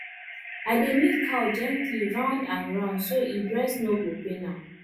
i dey milk cow gently round and round so e breast no go pain am